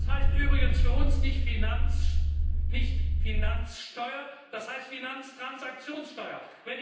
Das heißt übrigens für uns nicht Finanzsteuer, das heißt Finanztransaktionssteuer.